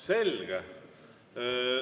Selge.